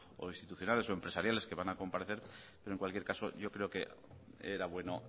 o institucionales o empresariales que van a comparecer pero en cualquier caso yo creo que era bueno